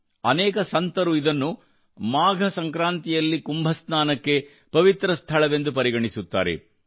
ಅನೇಕ ಸಂತರು ಇದನ್ನು ಮಾಘ ಸಂಕ್ರಾಂತಿಯಲ್ಲಿ ಕುಂಭ ಸ್ನಾನಕ್ಕೆ ಪವಿತ್ರ ಸ್ಥಳವೆಂದು ಪರಿಗಣಿಸುತ್ತಾರೆ